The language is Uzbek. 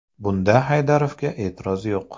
Bunda Haydarovga e’tiroz yo‘q.